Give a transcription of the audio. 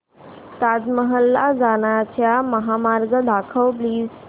ताज महल ला जाण्याचा महामार्ग दाखव प्लीज